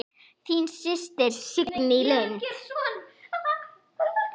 Þín systir, Signý Lind.